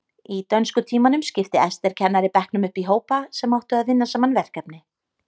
Í dönskutímanum skipti Ester kennari bekknum upp í hópa sem áttu að vinna saman verkefni.